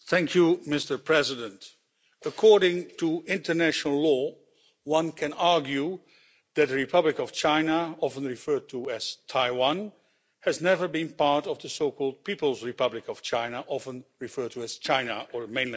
Mr President, according to international law, one can argue that the Republic of China often referred to as Taiwan, has never been part of the so called People's Republic of China often referred to as China or mainland China.